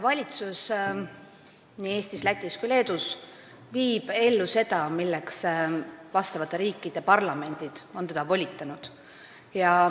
Valitsus – nii Eestis, Lätis kui ka Leedus – viib ellu seda, milleks parlament on teda volitanud.